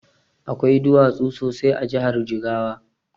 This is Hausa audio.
Akwai duwatsu sosai a jahar jigawa